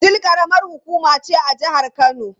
Wudil karamar hukuma ce a jihar Kano.